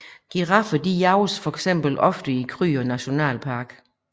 Giraffer jages eksempelvis ofte i Kruger National Park